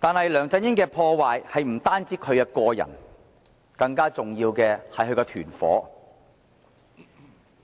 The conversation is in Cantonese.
然而，梁振英帶來的破壞不只限於個人層面，更重要是他